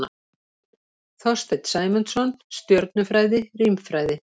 Þorsteinn Sæmundsson, Stjörnufræði- Rímfræði.